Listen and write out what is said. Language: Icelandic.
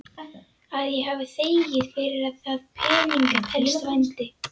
Að ég hafi þegið fyrir það peninga telst vændi.